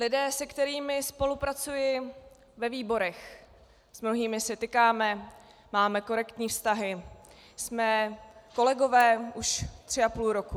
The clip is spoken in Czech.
Lidé, s kterými spolupracuji ve výborech, s mnohými si tykáme, máme korektní vztahy, jsme kolegové už tři a půl roku.